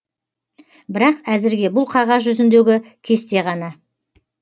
бірақ әзірге бұл қағаз жүзіндегі кесте ғана